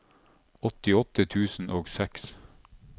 åttiåtte tusen og seks